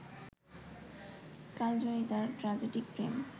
কালজয়ী তার ট্র্যাজিডিক প্রেম